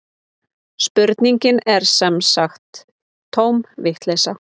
Spurningin er sem sagt tóm vitleysa